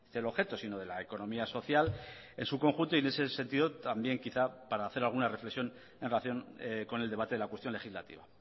el objeto sino de la economía social en su conjunto y en ese sentido también quizá para hacer alguna reflexión en relación con el debate de la cuestión legislativa